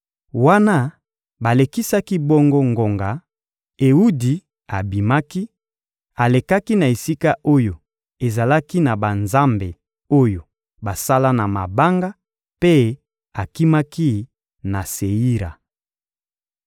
Wana balekisaki bongo ngonga, Ewudi abimaki; alekaki na esika oyo ezalaki na banzambe oyo basala na mabanga mpe akimaki na Seira.